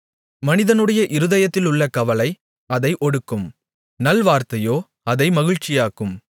மனிதனுடைய இருதயத்திலுள்ள கவலை அதை ஒடுக்கும் நல்வார்த்தையோ அதை மகிழ்ச்சியாக்கும்